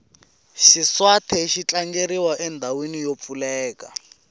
xiswathe xi tlangeriwa endhawini yo pfuleka